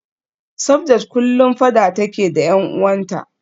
Sabdat kullum fada take da y'an uwanta